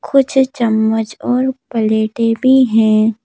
कुछ चम्मच और पलेटे भी हैं।